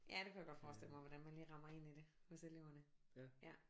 Ja det kunne jeg godt forestille mig hvordan man lige rammer ind i det hos eleverne ja